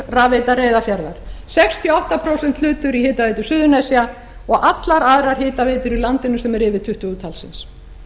rafveita reyðarfjarðar sextíu og átta prósent hlutur í hitaveitu suðurnesja og allar aðrar hitaveitur í landinu sem eru yfir tuttugu talsins